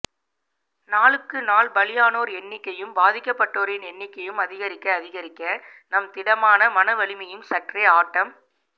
நாளுக்கு நாள் பலியானோர் எண்ணிக்கையும் பாதிக்கப்பட்டோரின் எண்ணிக்கையும் அதிகரிக்க அதிகரிக்க நம் திடமான மன வலிமையும் சற்றே ஆட்டம்